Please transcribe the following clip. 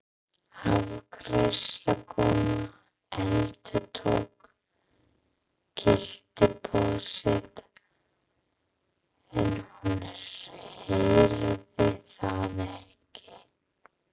Afgreiðslukonan endurtók gylliboð sitt en hún heyrði það ekki.